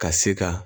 Ka se ka